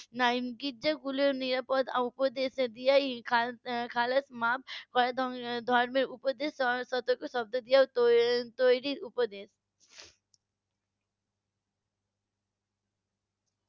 . নিরাপদ উপদেশ দেওয়া ই . ধর্মের উপদেশ সতর্ক শব্দ দিয়ে তৈরি উপদেশ